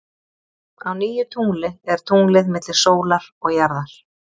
Á nýju tungli er tunglið milli sólar og jarðar.